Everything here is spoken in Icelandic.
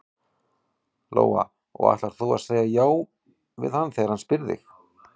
Lóa: Og ætlar þú að segja já við hann þegar hann spyr þig?